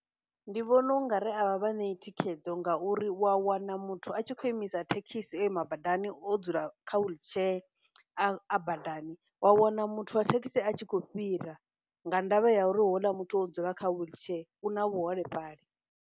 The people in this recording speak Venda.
Ndi vhona ungari a vha vha ṋeyi thikhedzo ngauri u wa wana muthu a tshi khou imisa thekhisi o ima badani, o dzula kha wheelchair a badani, wa wana muthu wa thekhisi a tshi khou fhira nga ndavha ya uri houḽa muthu o dzula kha wheelchair, u na vhuholefhali.